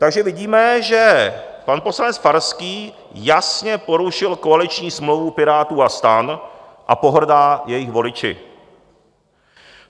Takže vidíme, že pan poslanec Farský jasně porušil koaliční smlouvu Pirátů a STAN a pohrdá jejich voliči.